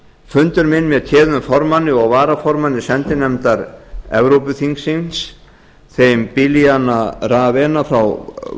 fundur minn með téðum formanni og varaformanni sendinefndar evrópuþingsins þeim bilyana raeva frá